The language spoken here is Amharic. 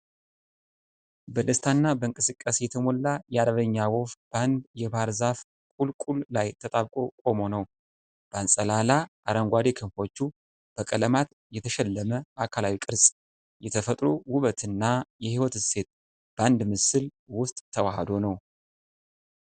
በደስታና በእንቅስቃሴ የተሞላ የአርበኛ ወፍ በአንድ የባህርይ ዛፍ ቁልቁል ላይ ተጣብቆ ቆሞ ነው። በአንጸላላ አረንጓዴ ክንፎቹ፣ በቀለማት የተሸለመ አካላዊ ቅርፅ። የተፈጥሮ ውበት እና የሕይወት እሴት በአንድ ምስል ውስጥ ተዋህዶ ነው።